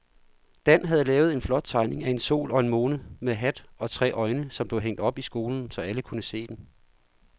Dan havde lavet en flot tegning af en sol og en måne med hat og tre øjne, som blev hængt op i skolen, så alle kunne se den.